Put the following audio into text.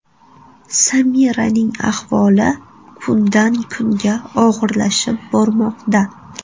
Samiraning ahvoli kundan-kunga og‘irlashib bormoqda.